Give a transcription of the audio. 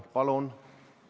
Palun!